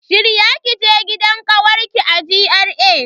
Shirya kije gidan kawarki a GRA.